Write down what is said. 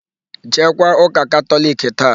Jeekwa ụ́kà Katọliki taa!